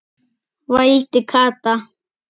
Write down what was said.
vældi Kata.